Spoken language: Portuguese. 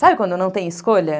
Sabe quando não tem escolha?